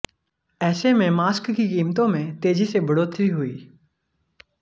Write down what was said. ऐसे में मास्क की कीमतों में तेजी से बढ़ोतरी हुई